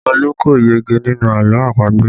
Olu kò yege nínú àlọ́ àpagbè